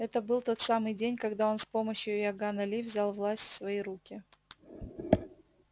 это был тот самый день когда он с помощью иоганна ли взял власть в свои руки